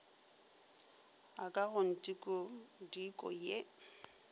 a ka go ntikodiko ye